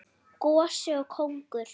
Gosi og kóngur.